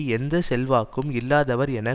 எந்த செல்வாக்கும் இல்லாதவர் என